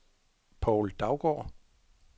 Povl Daugaard